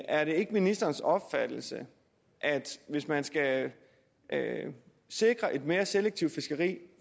er det ikke ministerens opfattelse at hvis man skal sikre et mere selektivt fiskeri